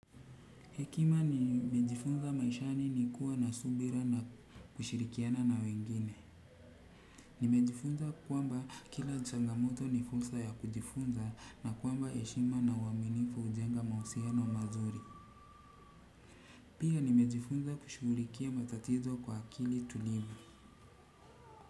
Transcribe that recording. Hekima nimejifunza maishani ni kuwa na subira na kushirikiana na wengine. Nimejifunza kwamba kila changamoto ni fursa ya kujifunza na kwamba heshima na uaminifu hujenga mahusiano mazuri. Pia nimejifunza kushughulikia matatizo kwa akili tulivu.